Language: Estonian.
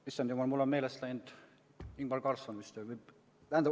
Issand jumal, mul on meelest läinud, Ingvar Carlsson vist ...